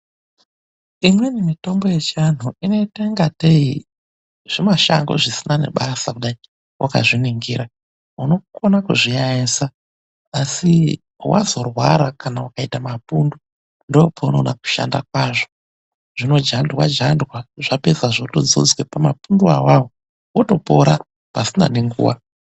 Imweni mitombo yechiantu inoita ingatei zvimashango zvisina nebasa kudai wakazviningira, unokona kuzviyayesa asi wazorwara kana ukaita mapundu ndoopaunoona kushanda kwazvo. Zvinojandwa jandwa zvapedza zvotodzodzwa pamapunduwo awawo otopora pasina nenguwa.